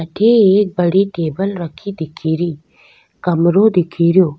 अठे एक बड़ी टेबल रखी दिखेरी कमरों दिखे रेहो।